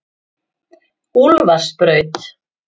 Úlfarsbraut